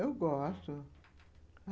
Eu gosto.